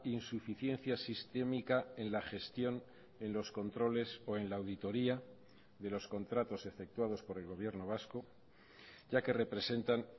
insuficiencia sistémica en la gestión en los controles o en la auditoría de los contratos efectuados por el gobierno vasco ya que representan